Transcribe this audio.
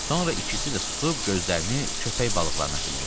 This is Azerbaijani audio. Sonra ikisi də susub gözlərini köpək balıqlarına zillədilər.